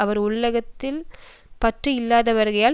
அவர் உலகத்தில் பற்று இல்லாதவராகையால்